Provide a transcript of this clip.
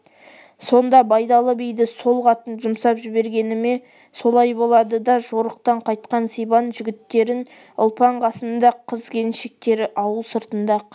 сонда байдалы биді сол қатын жұмсап жібергені ме солай болады да жорықтан қайтқан сибан жігіттерін ұлпан қасында қыз-келіншектері ауыл сыртында қарсы